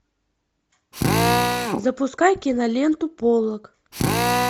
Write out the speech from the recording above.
запускай киноленту поллок